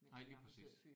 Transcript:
Nej lige præcis